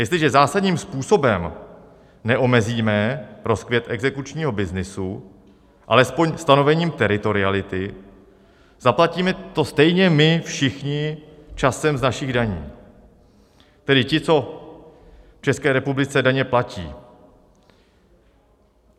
Jestliže zásadním způsobem neomezíme rozkvět exekučního byznysu alespoň stanovením teritoriality, zaplatíme to stejně my všichni časem z našich daní, tedy ti, co v České republice daně platí.